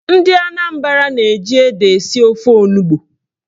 Ndị Anambra na-eji ede esi ofe onugbo.